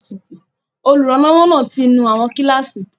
Olùrànlọ́wọ́ náà ti nú àwọn kíláàsì